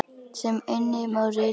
sem einnig má rita sem